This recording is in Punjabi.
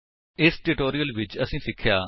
ਇਸ ਟਿਊਟੋਰਿਅਲ ਵਿੱਚ ਅਸੀਂ ਸਿੱਖਿਆ